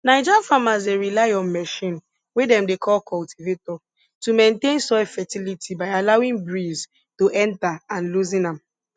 naija farmers dey rely on machine wey dem dey call cultivator to maintain soil fertility by allowing breeze to enter and loosen am